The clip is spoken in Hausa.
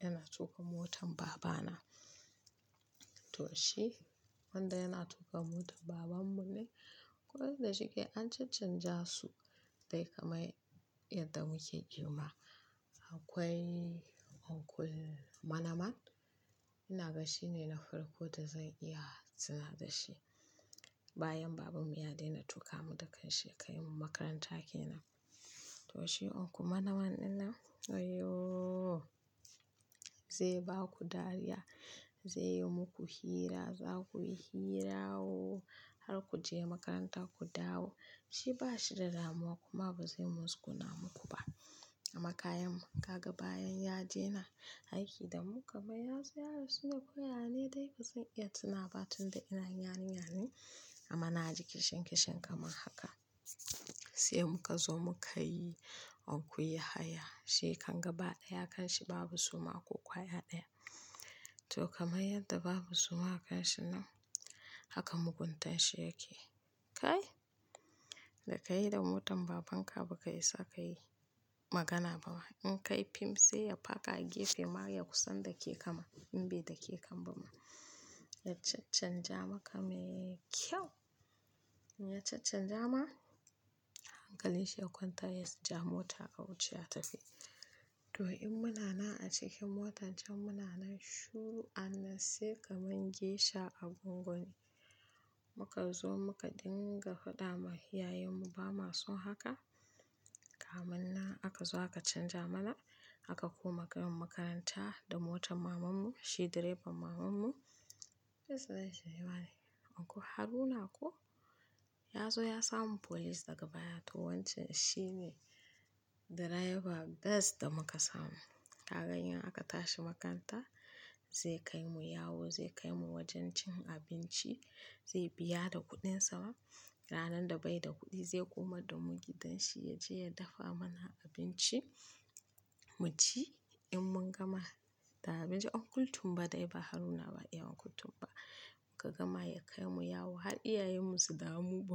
yana tuƙa motar baba na. To shi wanda yana tuƙa motar baban mu ne, kode shike an canja su dai kamar yadda muke girma. Akwai Uncle Manaman, inaga shine na farko da zan iya tuna da shi. Bayan baban mu ya daina tuƙa mu da kanshi ya kaimu makaranta kenan. To shi Uncle Manaman ɗinnan, wayyoo, zai baku dariya, zai yi muku hira, zakuyi hira oo, har kuje makaranta ku dawo. Shi bashi da damuwa kuma bazai musguna muku ba. Amma kayan ka ga bayan ya daina aiki da mu kamar yazo ya rasune ko yane dai bazan iya tunawa ba tunda ina yarinya ne. Amma naji kishin-kishin kamar haka. Sai muka zo muka yi Uncle Yahaya. Shikan gaba ɗaya kashi babu suma ko ƙwaya ɗaya. To kamar yadda babu suma a kashi nan, haka muguntan shi yake. Kai! Da kai da motan babanka baka isa kayi magana ba. In kayi fim sai ya paka a gefe ma ya kusan dake kama in bai dake kam bama. Ya caccanja maka me ƙyau. Ya caccanja ma, hankali shi ya kwanta yaja mota a wuce a tafi. To in muna nan a cikin motan can muna nan shiru an nan sai kamar gesha a gwangwani. Muka zo muka dinga faɗa ma iyayen mu ba mason haka. Kamannan akazo aka canja mana aka koma kaimu makaranta da motar maman mu. Shi direban maman mu. Yace zai sha waya ne. Uncle Haruna ko? Yazo ya samu folice daga baya. To wancan shi ne direba gas da muka samu. Ka gani in aka tashi makaranta zai kaimu yawo, zai kaimu wajen cin abinci, zai biya da kuɗin sa. Ranar da bai da kuɗi zai koma da mu gidan shi yaje ya dafa mana abinci mu ci. In mun gama da abinci Uncle tun ba dai ba Haruna ba, iya Uncle tun ba. Ka gama ya kai mu yawo har iyayen mu su damu--